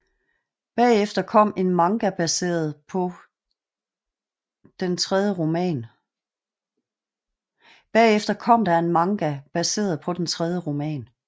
Bagefter kom der en manga baseret på den tredje roman